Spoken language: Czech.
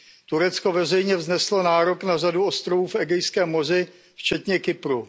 Turecko veřejně vzneslo nárok na řadu ostrovů v Egejském moři včetně Kypru.